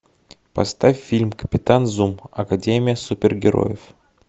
поставь фильм капитан зум академия супергероев